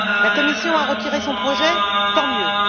La Commission a retiré son projet, tant mieux.